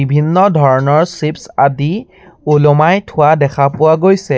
ভিন্ন ধৰণৰ চিপছ্ আদি ওলোমাই থোৱা দেখা পোৱা গৈছে।